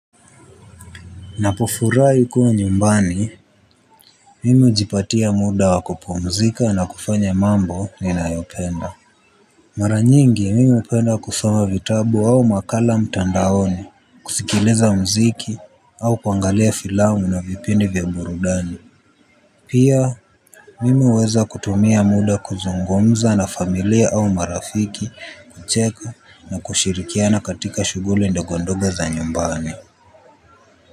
Napofurahi kuwa nyumbani, mimi hujipatia muda wa kupumzika na kufanya mambo ninayopenda. Mara nyingi mimi hupenda kusoma vitabu au makala mtandani kusikiliza muziki au kuangalia filamu na vipindi vya burudani. Pia mimi huweza kutumia muda kuzungumza na familia au marafiki kucheka na kushirikiana katika shughuli ndogo ndogo za nyumbani.